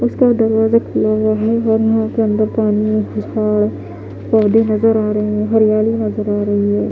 उसका दरवाजा खुला हुआ है और यहां पे अंदर पानी और पौधे नजर आ रहे हैं हरियाली नजर आ रही है।